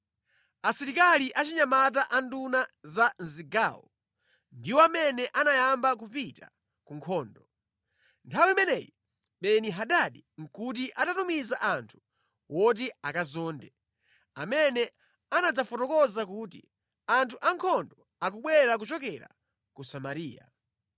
Asilikali achinyamata a nduna za mʼzigawo ndiwo amene anayamba kupita ku nkhondo. Nthawi imeneyi Beni-Hadadi nʼkuti atatumiza anthu oti akazonde, amene anadzafotokoza kuti, “Anthu ankhondo akubwera kuchokera ku Samariya.”